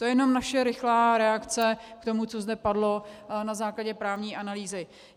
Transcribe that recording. To je jenom naše rychlá reakce k tomu, co zde padlo na základě právní analýzy.